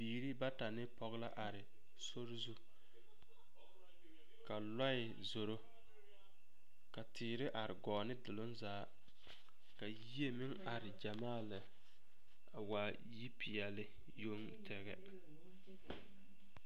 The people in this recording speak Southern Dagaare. Biiri bata ne pɔge a are sori zu ka lɔɛ zoro ka teere are gɔɔ ne doloŋ zaa ka yie meŋ are gyamaa lɛ a waa yipeɛle yoŋ tɛgɛ.